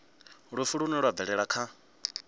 lufu lune lwa bvelela kha